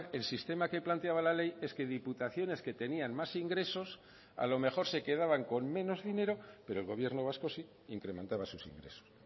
el sistema que planteaba la ley es que diputaciones que tenían más ingresos a lo mejor se quedaban con menos dinero pero el gobierno vasco sí incrementaba sus ingresos